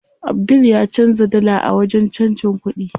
Abdul ya canza dala a wajen canjin kuɗi.